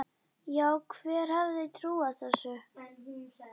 Já, hver hefði trúað þessu?